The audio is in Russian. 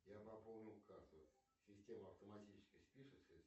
я пополнил карту система автоматически спишет